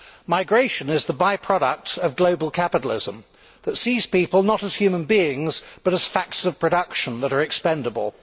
Migration is the by product of global capitalism that sees people not as human beings, but as factors of production that are expendable.